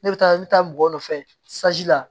Ne bɛ taa ne bɛ taa mɔgɔ nɔfɛ la